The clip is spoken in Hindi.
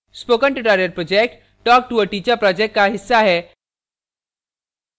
spoken tutorial project talktoa teacher project का हिस्सा है